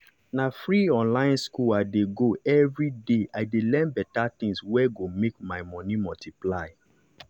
na free online school i dey go everyday i dey learn better things wey go make my money multiply.